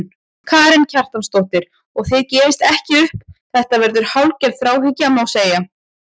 Karen Kjartansdóttir: Og þið gefist ekki upp, þetta verður hálfgerð þráhyggja, má segja?